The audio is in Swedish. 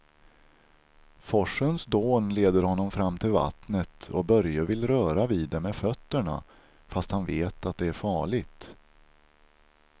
Forsens dån leder honom fram till vattnet och Börje vill röra vid det med fötterna, fast han vet att det är farligt.